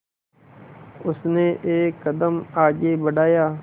उसने एक कदम आगे बढ़ाया